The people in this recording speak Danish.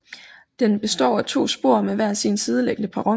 Den består af to spor med hver sin sideliggende perron